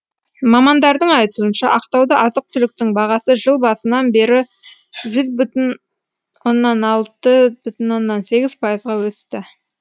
мамандардың айтуынша ақтауда азық түліктің бағасы жыл басынан бері жүз бүтін оннан алты оннан сегіз пайызға өсті